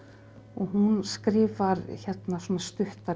hún skrifar svona stuttar